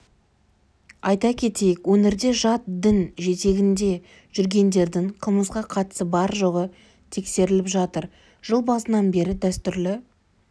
айта кетейік өңірде жат дін жетегінде жүргендердің қылмысқа қатысы бар-жоғы тексеріліп жатыр жыл басынан бері дәстүрлі